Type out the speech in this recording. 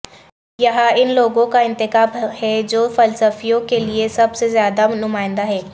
یہاں ان لوگوں کا انتخاب ہے جو فلسفیوں کے لئے سب سے زیادہ نمائندہ ہیں